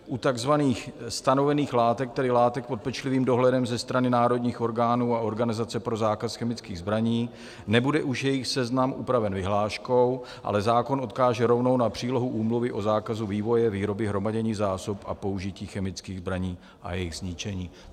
U takzvaných stanovených látek, tedy látek pod pečlivým dohledem ze strany národních orgánů a Organizace pro zákaz chemických zbraní, nebude už jejich seznam upraven vyhláškou, ale zákon odkáže rovnou na přílohu Úmluvy o zákazu vývoje, výroby, hromadění zásob a použití chemických zbraní a jejich zničení.